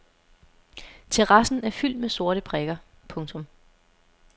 Terrassen er fyldt med sorte prikker. punktum